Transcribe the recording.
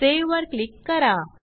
save वर click करा